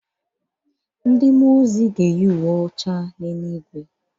Ndị mmụọ ozi ga-eyi uwe ọcha n’eluigwe